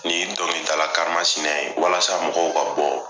Ni dɔnkilidala kan masinɛ in walasa mɔgɔw ka bɔ.